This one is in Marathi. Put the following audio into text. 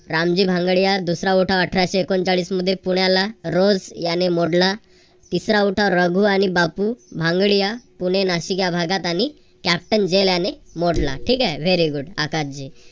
रामजी भांगडिया दुसरा उठाव अठराशे एकोणचाळीस मध्ये पुण्याला रज याने मोडला. तिसरा उठाव रघु आणि बापू भांगडिया पुणे-नाशिक या भागांमध्ये भागात आणि captain jain याने मोडला. ठिकाय very good आकाश जी